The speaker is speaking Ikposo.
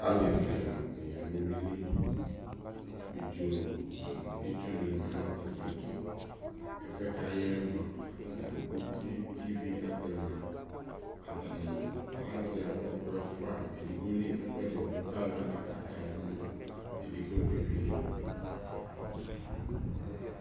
alɛvi ɛla dini yanʋ ʋwili, abidzɔ nʋ itsʋ ni manʋ atami ɛtʋ, ɛfʋɛ kʋ ayaɛ mʋ atami agbɔ ʋtiɛ kʋ ivi atɛma atani azɛ ɔkʋ ɛfua ,ɛdigbɔ li ɛkʋɛdi dʋ kʋ ayɔ ala kaka dʋ nʋ ɛdigbɔ dibi li